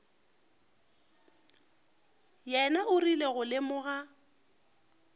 yena o rile go lemoga